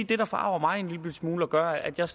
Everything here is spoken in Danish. det der forarger mig en lillebitte smule og gør at jeg